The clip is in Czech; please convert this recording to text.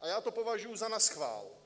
a já to považuji za naschvál.